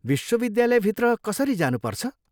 विश्वविद्यालयभित्र कसरी जानुपर्छ?